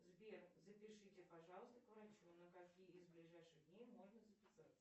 сбер запишите пожалуйста к врачу на какие из ближайших дней можно записаться